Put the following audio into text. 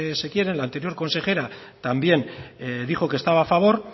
se quieran la anterior consejera también dijo que estaba a favor